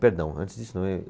Perdão, antes disso.